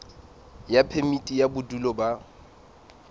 ya phemiti ya bodulo ba